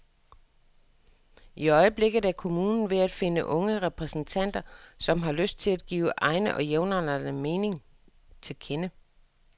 I øjeblikket er kommunen ved at finde unge repræsentanter, som har lyst til at give egne og jævnaldrendes mening til kende.